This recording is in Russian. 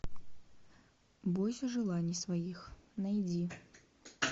бойся желаний своих найди